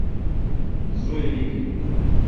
зоя игоревна